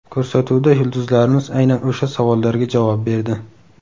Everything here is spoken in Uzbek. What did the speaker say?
Ko‘rsatuvda yulduzlarimiz aynan o‘sha savollarga javob berdi.